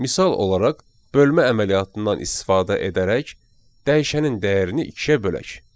Misal olaraq, bölmə əməliyyatından istifadə edərək dəyişənin dəyərini ikiyə bölək.